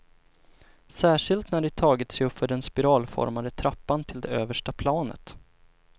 Särskilt när de tagit sig uppför den spiralformade trappan till det översta planet.